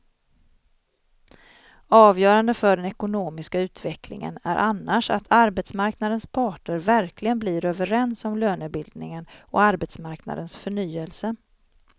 Avgörande för den ekonomiska utvecklingen är annars att arbetsmarknadens parter verkligen blir överens om lönebildningen och arbetsmarknadens förnyelse.